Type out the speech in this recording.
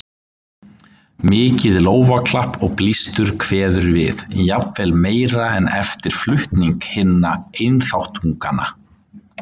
Mikið lófaklapp og blístur kveður við, jafnvel meira en eftir flutning hinna einþáttunganna.